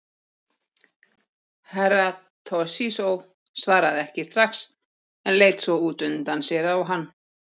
Herra Toshizo svaraði ekki strax en leit svo út undan sér á hann.